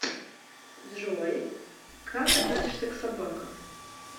джой как относишься к собакам